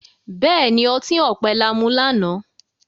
béèni, ọti ọpẹ là mú lànà.